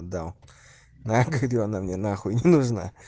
дал нахрен она мне нахуй не нужна